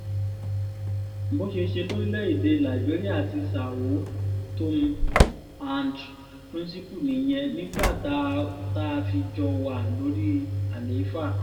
bó ṣe ṣe lórílẹ̀‐èdè liberia àti são tomé and príncipe nìyẹn nígbà tá a fi jọ wà lórí àlééfà